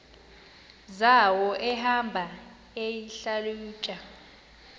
zawo ehamba eyihlalutya